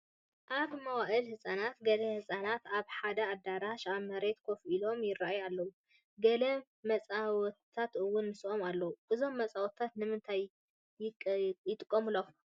ኣብ መዋዕለ ህፃናት ገለ ህፃናት ኣብ ሓደ ኣዳራሽ ኣብ መሬት ኮፍ ኢሎም ይርአዩ ኣለዉ፡፡ ገለ መፃወቲታት እውን ምስኦም ኣለዉ፡፡ እዞም መፃወትታት ንምንታይ ይቀቕሙ